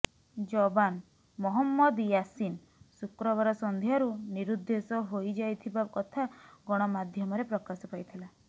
ଯବାନ୍ ମହମ୍ମଦ ୟାସୀନ୍ ଶୁକ୍ରବାର ସନ୍ଧ୍ୟାରୁ ନିରୁଦ୍ଦେଶ ହୋଇ ଯାଇଥିବା କଥା ଗଣମାଧ୍ୟମରେ ପ୍ରକାଶ ପାଇ ଥିଲା